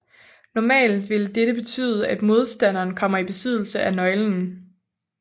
Normalt vil dette betyde at modstanderen kommer i besiddelse af nøglen